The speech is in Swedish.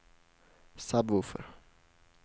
sub-woofer